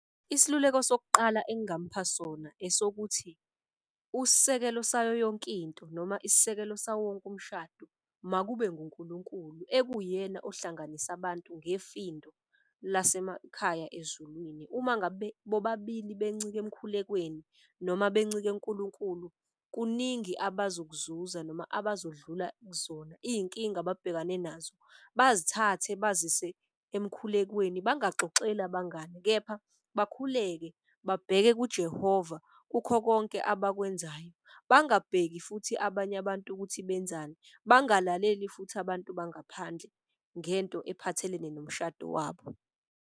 Isiluleko sokuqala engamupha sona esokuthi usekelo sayo yonkinto noma isisekelo sawo wonke umshado. Makube nguNkulunkulu ekuwuyena ohlanganisa abantu ngefindo lase emakhaya ezulwini. Uma ngabe bobabili bencike emkhulekweni noma bencike kuNkulunkulu kuningi abazokuzuza noma abazodlula kuzona. Iy'nkinga ababhekane nazo bazithathe bazise emkhulekweni bangaxoxeli abangani, kepha bekhuleke babheke kuJehova kukho konke abakwenzayo. Bangabheki futhi abanye abantu ukuthi benzani, bangalaleli futhi abantu bangaphandle ngento ephathelene nomshado wabo.